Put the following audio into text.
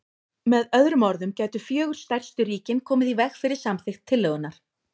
Með öðrum orðum gætu fjögur stærstu ríkin komið í veg fyrir samþykkt tillögunnar.